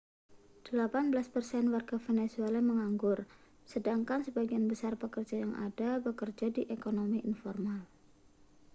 delapan belas persen warga venezuela menganggur sedangkan sebagian besar pekerja yang ada bekerja di ekonomi informal